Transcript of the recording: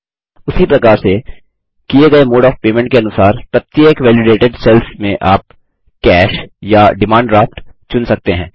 उसी प्रकार से किये गये मोड ऑफ़ पेमेंट के अनुसार प्रत्येक वैलिडेटेड सेल्स में आप कैश या डिमांड ड्राफ्ट चुन सकते हैं